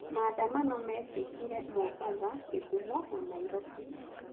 Maandamano mekĩkire Mombatha, Gĩthumo na Nairobi.